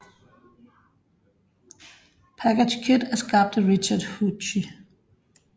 PackageKit er skabt af Richard Hughsie